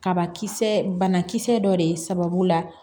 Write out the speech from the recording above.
Kabakisɛ banakisɛ dɔ de ye sababu la